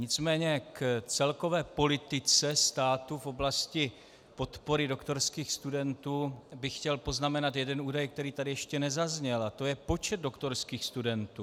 Nicméně k celkové politice státu v oblasti podpory doktorských studentů bych chtěl poznamenat jeden údaj, který tady ještě nezazněl, a to je počet doktorských studentů.